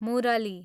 मुरली